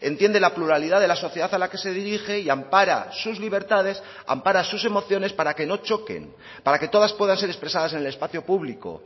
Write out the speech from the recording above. entiende la pluralidad de la sociedad a la que se dirige y ampara sus libertades ampara sus emociones para que no choquen para que todas puedan ser expresadas en el espacio público